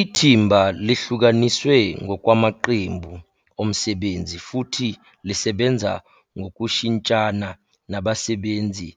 Ithimba lihlukaniswe ngokwamaqembu omsebenzi futhi lisebenza ngokushintshana nabasebenzi